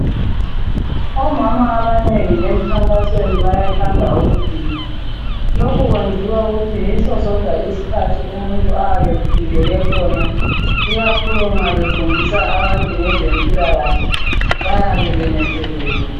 Omama banengi bagida kakhulu bengahamba emkhankasweni ngoba yikho lapho abakhululeka khona ikakhulu nxa befundisa abantu ngezempilakahle bayabe benethezekile.